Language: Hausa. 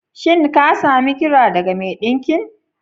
Shin ka sami kira daga mai ɗinkin?